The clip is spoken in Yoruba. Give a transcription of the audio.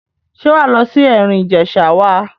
Ṣé wà á lọ sí Ẹ̀rìn Ìjẹ̀ṣà wa?